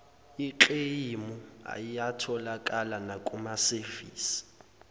ekleyimu ayatholakala nakumasevisi